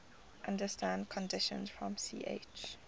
under standard conditions from ch